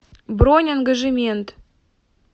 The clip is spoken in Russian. бронь ангажемент